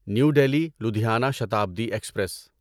new Delhi Ludhiana Shatabdi express